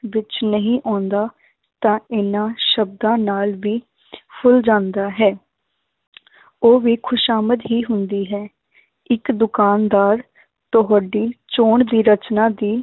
ਵਿੱਚ ਨਹੀਂ ਆਉਂਦਾ ਤਾਂ ਇਹਨਾਂ ਸ਼ਬਦਾਂ ਨਾਲ ਵੀ ਫੁੱਲ ਜਾਂਦਾ ਹੈ ਉਹ ਵੀ ਖ਼ੁਸ਼ਾਮਦ ਹੀ ਹੁੰਦੀ ਹੈ ਇੱਕ ਦੁਕਾਨਦਾਰ ਤੁਹਾਡੀ ਚੋਣ ਦੀ ਰਚਨਾ ਦੀ